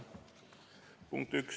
Punkt üks.